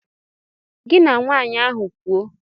Gị na nwaanyị ahụ kwuo.